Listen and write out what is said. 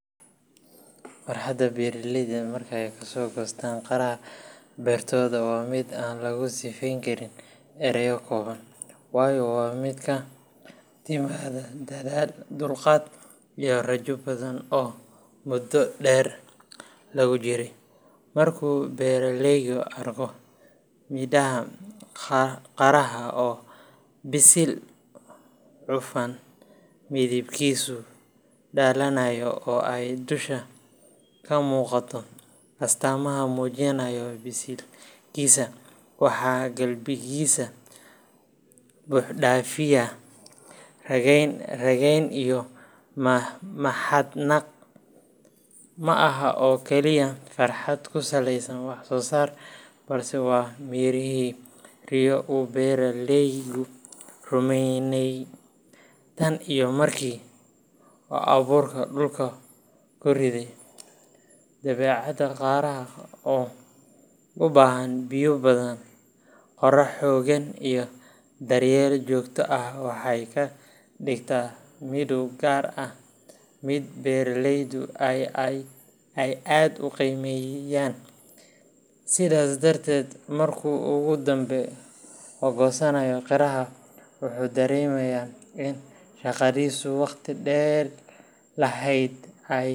Farxadda beeralayda marka ay kasoo goostaan qaraha beertooda waa mid aan lagu sifeyn karin erayo kooban, waayo waa mid ka timaadda dadaal, dulqaad, iyo rajo badan oo muddo dheer lagu jiray. Markuu beeraleygu arko midhaha qaraha oo bisil, cufan, midabkiisu dhalaalayo oo ay dusha ka muuqato astaamaha muujinaya biseylkiisa waxaa qalbigiisa buuxdhaafiya rayn rayn iyo mahadnaq. Ma aha oo kaliya farxad ku saleysan wax soo saar, balse waa mirihii riyo uu beeraleygu rumeynayay tan iyo markii uu abuurka dhulka ku riday. Dabeecadda qaraha oo u baahan biyo badan, qorax xooggan, iyo daryeel joogto ah waxay ka dhigtaa midho gaar ah mid beeraleydu ay aad u qiimeeyaan. Sidaas darteed, markuu ugu dambeyn goosanayo qaraha, wuxuu dareemayaa in shaqadiisii waqti dheer lahayd ay.